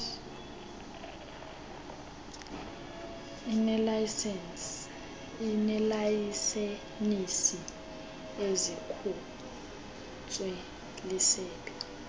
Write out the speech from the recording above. ineelayisenisi ezikhutshwe lisebe